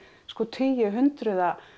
tugi hundruða